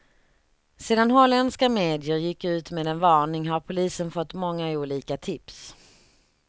Sedan holländska medier gick ut med en varning har polisen fått många olika tips.